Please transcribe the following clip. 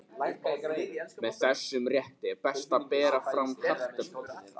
Með þessum rétti er best að bera fram kartöflur.